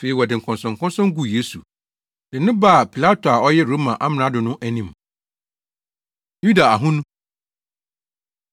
Afei wɔde nkɔnsɔnkɔnsɔn guu Yesu, de no baa Pilato a ɔyɛ Roma amrado no anim. Yuda Ahonu